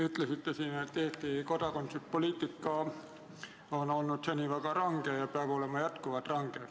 Ütlesite siin, et Eesti kodakondsuspoliitika on olnud seni väga range ja peab olema jätkuvalt range.